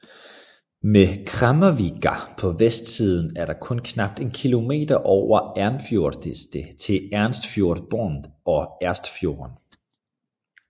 Ved Kremmarvika på vestsiden er der kun knap en kilometer over Ersfjordeidet til Ersfjordbotn og Ersfjorden